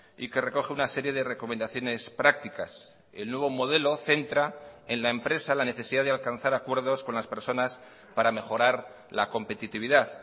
y que recoge una serie de recomendaciones prácticas el nuevo modelo centra en la empresa la necesidad de alcanzar acuerdos con las personas para mejorar la competitividad